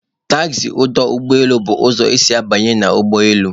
Taxi ọdụ ụgbọ elu bụ ụzọ isi banye na ọdụ ụgbọ elu